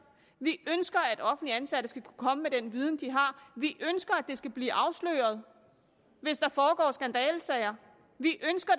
vi ønsker at offentligt ansatte skal kunne komme med den viden de har vi ønsker det skal blive afsløret hvis der foregår skandalesager vi ønsker